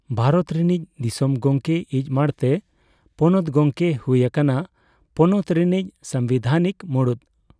ᱵᱷᱟᱨᱚᱛ ᱨᱤᱱᱤᱡ ᱫᱤᱥᱚᱢ ᱜᱚᱢᱠᱮ ᱤᱡ ᱢᱟᱬᱛᱮ, ᱯᱚᱱᱚᱛ ᱜᱚᱢᱠᱮᱭ ᱦᱩᱭ ᱟᱠᱟᱱᱟ ᱯᱚᱱᱚᱛ ᱨᱤᱱᱤᱡ ᱥᱟᱸᱵᱤᱫᱷᱟᱱᱤᱠ ᱢᱩᱬᱩᱛ᱾